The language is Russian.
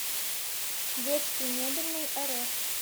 детскиймебельныйрф